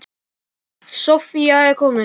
Soffía er komin.